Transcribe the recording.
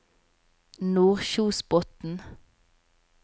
Nordkjosbotn